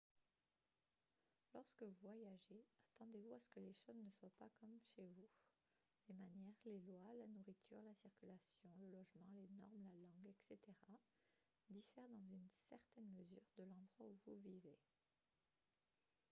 lorsque vous voyagez attendez-vous à ce que les choses ne soient pas comme « chez vous ». les manières les lois la nourriture la circulation le logement les normes la langue etc. diffèrent dans une certaine mesure de l’endroit où vous vivez